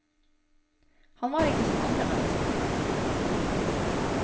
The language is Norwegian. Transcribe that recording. Han var ikke som andre mennesker.